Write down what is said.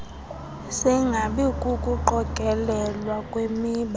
singabi kukuqokelelwa kwemiba